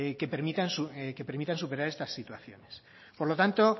que permitan superar estas situaciones por lo tanto